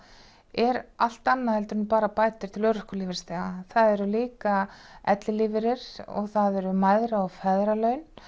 er allt annað en bara bætur til örorkulífeyrisþega það eru líka ellilífeyrir og það eru mæðra og feðralaun